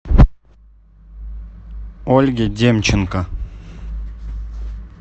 ольге демченко